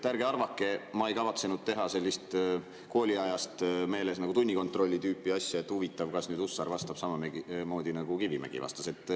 Ärge arvake, ma ei kavatsenud teha sellist kooliajast meeles asja, nagu tunnikontrolli tüüpi asja, et huvitav, kas nüüd Hussar vastab samamoodi, nagu Kivimägi vastas.